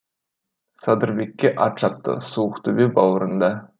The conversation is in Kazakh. садырбекке ат шапты суықтөбе бауырында